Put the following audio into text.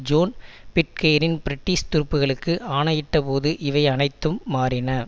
zone Pitcairn British துருப்புகளுக்கு ஆணையிட்ட போது இவை அனைத்தும் மாறின